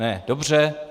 Ne, dobře.